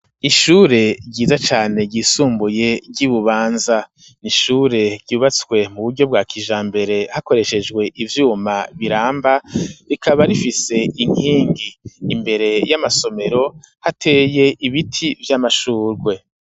Ishure ryiza cane ,ryisumbuye ry'ibubanza ,nishure ryubatswe mu buryo bwa kijambere, hakoreshejwe ivyuma biramba, rikaba rifise inkingi imbere y'amasomero ,hateye ibiti vy'amashurwe.